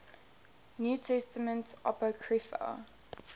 new testament apocrypha